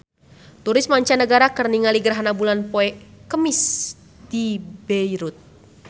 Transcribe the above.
Turis mancanagara keur ningali gerhana bulan poe Kemis di Beirut